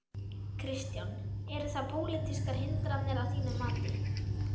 Kristján: Eru það pólitískar hindranir að þínu mati?